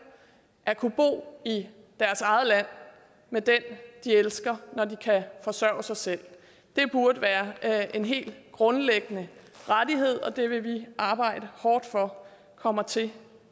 at kunne bo i deres eget land med den de elsker når de kan forsørge sig selv det burde være en helt grundlæggende rettighed og det vil vi arbejde hårdt for kommer til